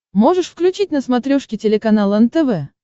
можешь включить на смотрешке телеканал нтв